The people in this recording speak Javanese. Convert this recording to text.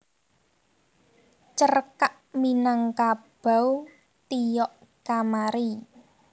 Cerkak Minangkabau Tiok Kamari